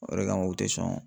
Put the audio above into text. O de kama u tɛ sɔn